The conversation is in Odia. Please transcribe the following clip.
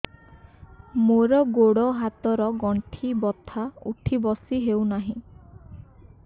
ମୋର ଗୋଡ଼ ହାତ ର ଗଣ୍ଠି ବଥା ଉଠି ବସି ହେଉନାହିଁ